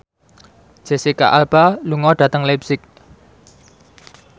Jesicca Alba lunga dhateng leipzig